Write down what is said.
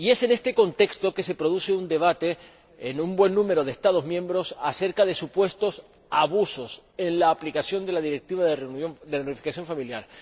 Y, en este contexto, se produce un debate, en un buen número de Estados miembros, acerca de supuestos abusos en la aplicación de la Directiva de reunificación familiar